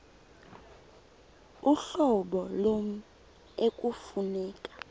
uhlobo lommi ekufuneka